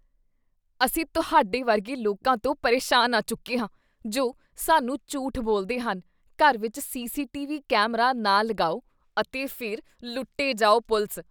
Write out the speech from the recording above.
ਅਸੀਂ ਤੁਹਾਡੇ ਵਰਗੇ ਲੋਕਾਂ ਤੋਂ ਪਰੇਸ਼ਾਨ ਆ ਚੁੱਕੇ ਹਾਂ ਜੋ ਸਾਨੂੰ ਝੂਠ ਬੋਲਦੇ ਹਨ, ਘਰ ਵਿੱਚ ਸੀ.ਸੀ.ਟੀ.ਵੀ. ਕੈਮਰਾ ਨਾ ਲਗਾਓ ਅਤੇ ਫਿਰ ਲੁੱਟੇ ਜਾਓ ਪੁਲਿਸ